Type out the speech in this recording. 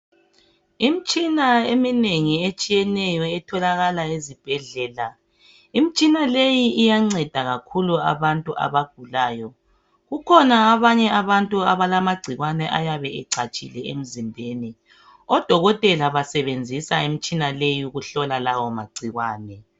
Imitshina eminengi etshiyeneyo etholakala esibhedlela. Imitshina leyi iyanceda kakhulu abantu abagulayo. Kukhona amagcikwane ayabe ecatshile emzimbeni . Odokotela basebenzisa imitshina leyi ukuhlola lawo magcikwane.